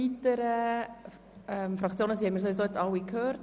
Die Fraktionsvoten haben wir nun alle gehört.